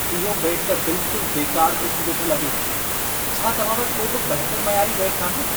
इहो बेटु त बिल्कुलु बेकारु क़िस्म जो थो लॻे। छा तव्हां वटि को बि बहितरु मयारी बेटु नाहे?